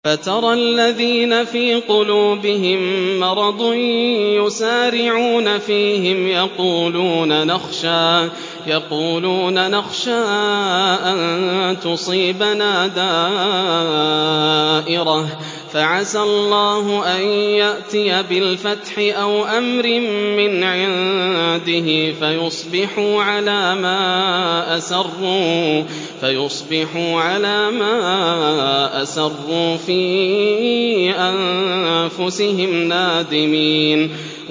فَتَرَى الَّذِينَ فِي قُلُوبِهِم مَّرَضٌ يُسَارِعُونَ فِيهِمْ يَقُولُونَ نَخْشَىٰ أَن تُصِيبَنَا دَائِرَةٌ ۚ فَعَسَى اللَّهُ أَن يَأْتِيَ بِالْفَتْحِ أَوْ أَمْرٍ مِّنْ عِندِهِ فَيُصْبِحُوا عَلَىٰ مَا أَسَرُّوا فِي أَنفُسِهِمْ نَادِمِينَ